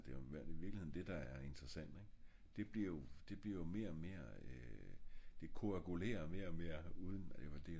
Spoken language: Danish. det er i virkeligheden det der er interessant ing? det bliver jo mere og mere øh koagulerer mere og mere uden